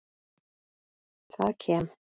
Það kem